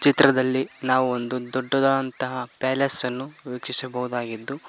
ಚಿತ್ರದಲ್ಲಿ ನಾವು ಒಂದು ದೊಡ್ಡದಾದಂತಹ ಪ್ಯಾಲೇಸ್ ಅನ್ನು ವೀಕ್ಷಿಸಬಹುದಾಗಿದ್ದು--